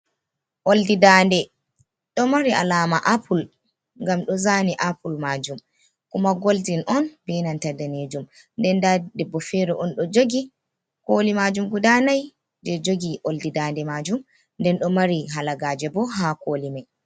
Oldi dande ɗo mari alama apple, ngam ɗo zaani apple majum, kuma golden on binanta daneejum nden debbo fere on do jogi. Kooli majum guda nai je jogi oldi dande majum, nden ɗo mari kalagaaje bo ha koli mai.